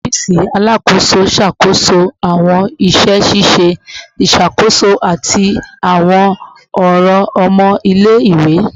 Ọfiisi Alakoso ṣakoso awọn iṣẹ ṣiṣe iṣakoso ati awọn ọran ọmọ ile-iwe